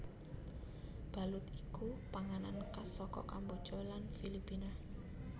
Balut iku panganan khas saka Kamboja lan Filipina